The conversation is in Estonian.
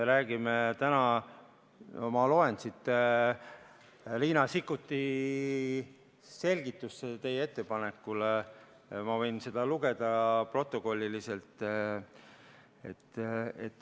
Ma loen Riina Sikkuti selgitust teie ettepaneku kohta :"...